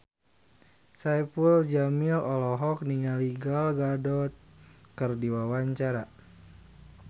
Saipul Jamil olohok ningali Gal Gadot keur diwawancara